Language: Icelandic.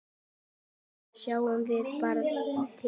Síðan sjáum við bara til.